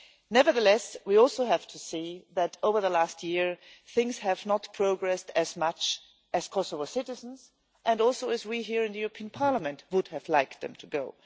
Nevertheless, we also have to see that, over the last year, things have not progressed as much as Kosovo citizens and also as we here in the European Parliament would have liked them to go.